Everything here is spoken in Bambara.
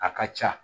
A ka ca